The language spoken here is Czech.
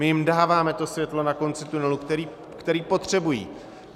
My jim dáváme to světlo na konci tunelu, které potřebují.